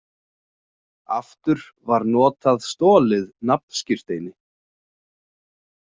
Aftur var notað stolið nafnskírteini.